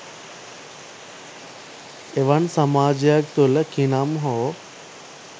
එවන් සමාජයක් තුළ කිනම් හෝ